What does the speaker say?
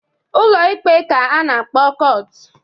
Ụlọ Ikpe ka a na-akpọ kọt.